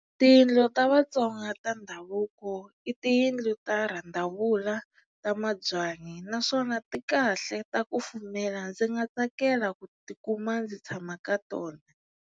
Tiyindlu ta Vatsonga ta ndhavuko i tiyindlu ta randavula ta mabyanyi naswona ti kahle ta kufumela ndzi nga tsakela ku tikuma ndzi tshama ka tona.